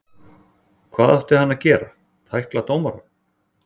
Hvað átti hann að gera, tækla dómarann?